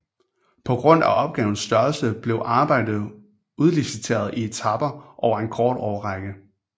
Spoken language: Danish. På grund af opgavens størrelse blev arbejdet udliciteret i etaper over en kort årrække